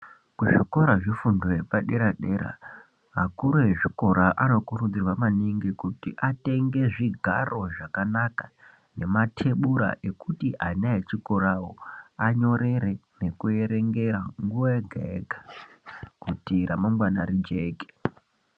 Muzvikora zvefundo yepadera dera vakuru vezvikora vanokurudzirwa maningi kuti atenge zvigaro zvakanaka nematebura ekuti ana echikorawo anyorere kuerengera nguwa yega yega kuti ramangwana Rijeke.